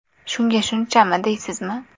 Shunga shunchami, deysizmi?